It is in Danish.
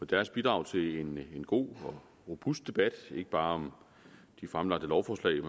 deres bidrag til en god og robust debat ikke bare om de fremlagte lovforslag